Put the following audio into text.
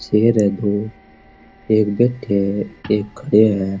शेर है दो एक बैठयो है एक खड़ियाे है।